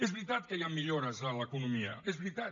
és veritat que hi han millores en l’economia és veritat